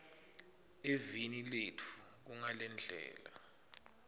eveni letfu kungalendlela